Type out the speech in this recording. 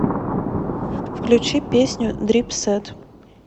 включи песню дрипсэт